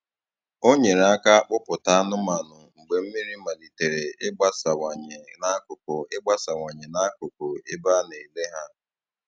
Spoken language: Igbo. Ọ nyere aka kpụ̀pụta anụ́manụ mgbe mmiri maliterè ịgbasawanye n’akụkụ ịgbasawanye n’akụkụ ebe a na-ele ha.